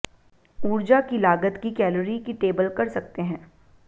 ऊर्जा की लागत की कैलोरी की टेबल कर सकते हैं